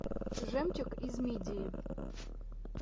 жемчуг из мидии